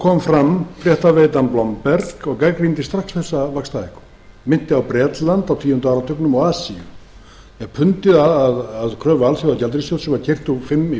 kom fram fréttaveitan bloomberg og gagnrýndi strax þessa vaxtahækkun minnti á bretland á tíunda áratugnum og asíu þegar pundið að kröfu alþjóðagjaldeyrissjóðsins var keyrt úr fimm í